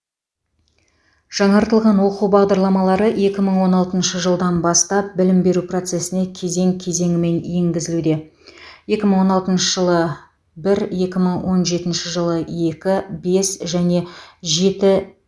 жаңартылған оқу бағдарламалары екі мың он алтыншы жылдан бастап білім беру процесіне кезең кезеңімен енгізілуде екі мың он алтыншы жылы бір екі мың он жетінші жылы екі бес және жеті